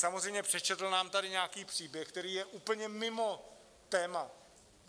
Samozřejmě přečetl nám tady nějaký příběh, který je úplně mimo téma.